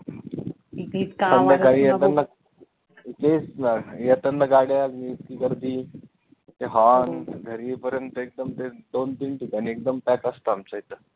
संध्याकाळी येतांना तेच न येतांना गाड्या इतकी गर्दी ते horn घरी येईपर्यंत एकदम तेच दोन तीन ठिकाणी एकदम pack असतं आमच्या इथं